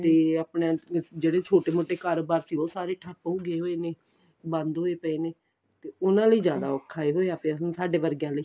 ਤੇ ਆਪਣਾ ਜਿਹੜੇ ਛੋਟੇ ਮੋਟੇ ਕਰੋਬਾਰ ਸੀ ਉਹ ਸਾਰੇ ਠਪ ਹੋਏ ਪਏ ਨੇ ਬੰਦ ਹੋਏ ਪਏ ਨੇ ਤੇ ਉਨ੍ਹਾਂ ਲਈ ਜਿਆਦਾ ਔਖਾ ਹੋਇਆ ਪਿਆ ਹੁਣ ਸਾਡੇ ਵਰਗਿਆ ਲਈ